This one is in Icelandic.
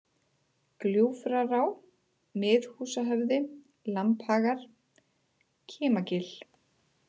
Gljúfrará, Miðhúsahöfði, Lambhagar, Kimagil